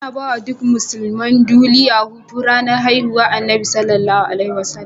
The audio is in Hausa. Anabawa duk musulman duliya Hutu ranar hihuwar annabi SAW